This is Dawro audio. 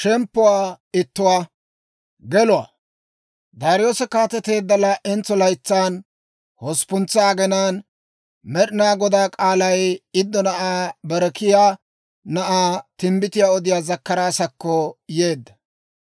Daariyoose kaateteedda laa"entso laytsan, hosppuntsa aginaan Med'inaa Godaa k'aalay Iddo na'aa Berekiyaa na'aa timbbitiyaa odiyaa Zakkaraasakko yeedda.